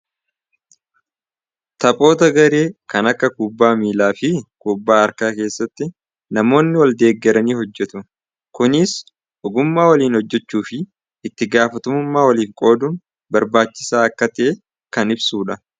Taphoota garee kan akka kubbaa miilaa fi kubbaa harkaa namoonni waldeeggaranii ni hojjetu. Kunis dandeettii gareen hojjechuu fi wal deegaruu kan ibsudha.